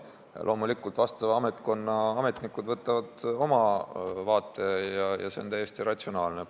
Loomulikult, ametkonna ametnikel on oma vaade ja see on täiesti ratsionaalne.